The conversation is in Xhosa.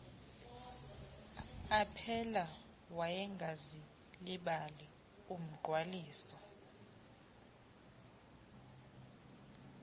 aphela wayengazilibali umgqwaliso